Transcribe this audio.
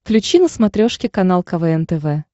включи на смотрешке канал квн тв